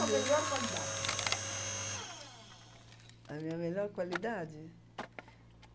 melhor qualidade? A minha melhor qualidade?